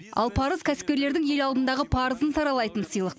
ал парыз кәсіпкерлердің ел алдындағы парызын саралайтын сыйлық